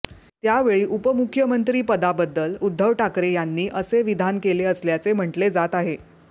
त्यावेळी उपमुख्यमंत्री पदाबद्दल उद्धव ठाकरे यांनी असे विधान केले असल्याचे म्हटले जात आहे